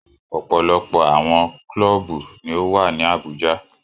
Ọpọlọpọ awọn kluubu ní o wa ni Abuja.